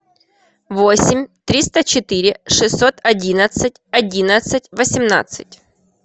восемь триста четыре шестьсот одиннадцать одиннадцать восемнадцать